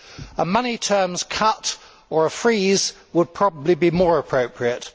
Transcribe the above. A money terms cut or a freeze would probably be more appropriate.